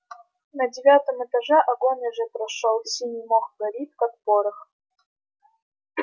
на девятом этаже огонь уже прошёл синий мох горит как порох